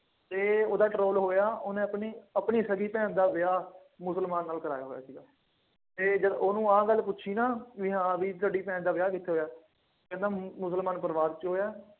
ਅਤੇ ਉਹਦਾ ਹੋਇਆਂ, ਉਹਨੇ ਆਪਣੀ ਆਪਣੀ ਸਕੀ ਭੈਣ ਦਾ ਵਿਆਹ ਮੁਸਲਮਾਨ ਨਾਲ ਕਰਾਇਆ ਹੋਇਆ ਸੀ। ਅਤੇ ਜਦ ਉਹਨੂੰ ਆਹ ਗੱਲ ਪੁੱਛੀ ਨਾ ਬਈ ਹਾਂ ਬਈ ਤੁਹਾਡੀ ਭੈਣ ਦਾ ਵਿਆਹ ਕਿੱਥੇ ਹੋਇਆ। ਕਹਿੰਦਾ ਮੁਸਲਮਾਨ ਪਰਿਵਾਰ ਚ ਹੋਇਆ।